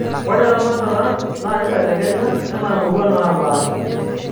ore eramatata naa kibelekenya enaa imurua naapasha